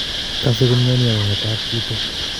Kase komioni ak kong'etat chito